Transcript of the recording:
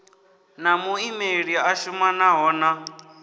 na muimeli a shumanaho na